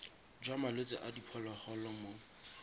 jwa malwetse a diphologolo mo